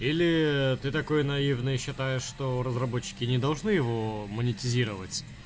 или ты такой наивный считаешь что разработчики не должны его монетизировать